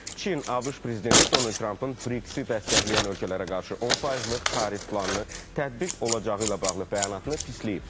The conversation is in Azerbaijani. Çin, ABŞ prezidenti Donald Trampın BRICS-i dəstəkləyən ölkələrə qarşı 10 faizlik tarif planını tətbiq olacağı ilə bağlı bəyanatını pisləyib.